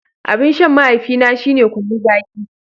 Abin shan mahaifina shine kunun zaki.